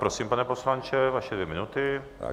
Prosím, pane poslanče, vaše dvě minuty.